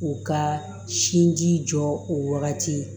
U ka sinji jɔ o wagati